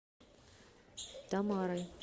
тамарой